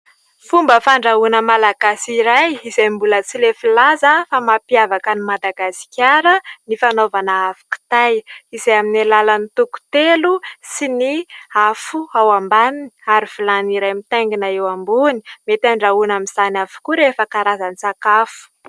Fomba fandrahoana malagasy iray izay mbola tsy lefy laza fa mampiavaka an'i Madagasikara ny fanaovana afo kitay, izay amin'ny alalan'ny toko telo sy ny afo ao ambaniny ary vilany iray mitaingina eo ambony. Mety andrahoina amin'izany avokoa rehefa karazan-tsakafo.